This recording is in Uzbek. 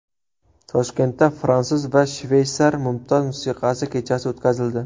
Toshkentda fransuz va shveysar mumtoz musiqasi kechasi o‘tkazildi.